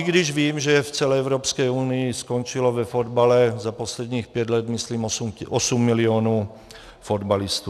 I když vím, že v celé Evropské unii skončilo ve fotbale za posledních pět let myslím osm milionů fotbalistů.